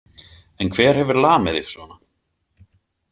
En hver hefur lamið þig svona?